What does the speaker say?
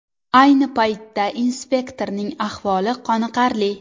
Ayni paytda inspektorning ahvoli qoniqarli.